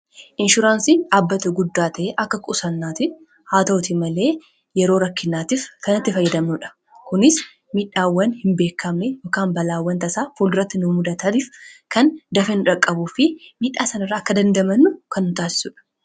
Inshuraansiin dhaabbata guddaa ta'e akka qusannaatitti haa ta'uuti malee yeroo rakkinaatiif kan itti fayyadamnuudha. Kunis miidhaawwan hin beekamne yookiin balaawwan tasaa fuulduratti nu mudataniif kan dafee nu qaqqabuu fi miidhaa sana irraa akka dandamannu kan nu taasisuudha.